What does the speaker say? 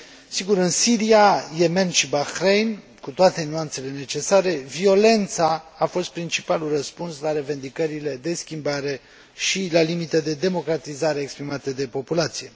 Sigur, în Siria, Yemen și Bahrain, cu toate nuanțele necesare, violența a fost principalul răspuns la revendicările de schimbare și, la limită, de democratizare exprimată de populație.